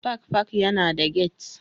Park Park yana da gate